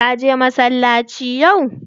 Ka je masallaci yau?